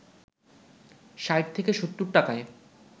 ৬০ থেকে ৭০ টাকায়